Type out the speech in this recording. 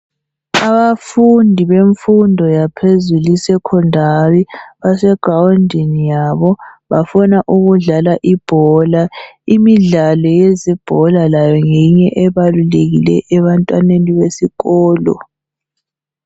Abafundi bemfundo yaphezulu isecondary basegroundini yabo bafuna ukudlala ibhola imidlalo yezibhola layo ngeminye ebalulekileyo abantwaneni besikolo